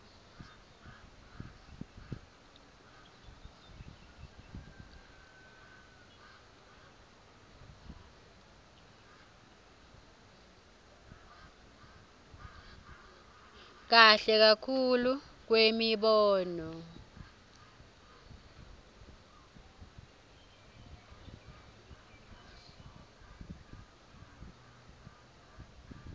kahle kakhulu kwemibono